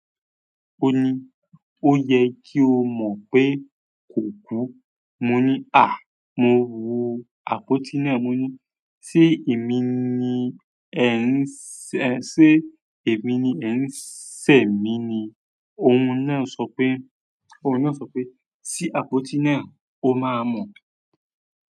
"Ó ni, ó yẹ kí o mọ̀ pé kò kú. Mo ni ah mo wo àpótí náà. Mo ní, ṣé èmi ni ẹ ń ṣè mí ni? Ohun náà sọ pé, ṣí àpótí náà, o máa mọ̀."